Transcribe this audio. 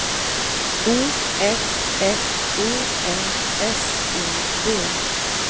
O F F E N S I V